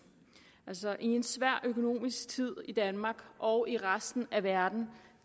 altså i en svær økonomisk tid i danmark og i resten af verden